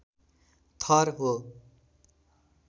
थर हो।